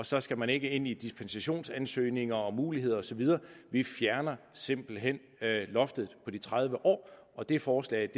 så skal man ikke ind i dispensationsansøgninger og muligheder og så videre vi fjerner simpelt hen loftet på de tredive år og det forslag